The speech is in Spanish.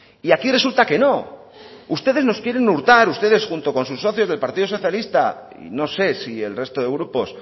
y aquí resulta que no ustedes nos quieren hurtar ustedes junto con sus socios del partido socialista y no sé si el resto de grupos